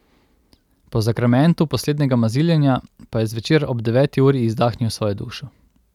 Po zakramentu poslednjega maziljenja pa je zvečer ob deveti uri izdahnil svojo dušo.